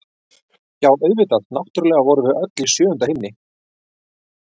Já, auðvitað, náttúrlega vorum við öll í sjöunda himni!